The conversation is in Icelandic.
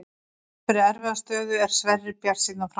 Þrátt fyrir erfiða stöðu er Sverrir bjartsýnn á framhaldið.